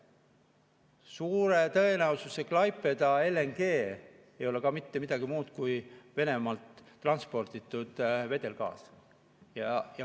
Suure tõenäosusega Klaipeda LNG ei ole ka mitte midagi muud kui Venemaalt transporditud vedelgaas.